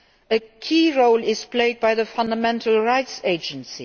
A key role is played by the Fundamental Rights Agency.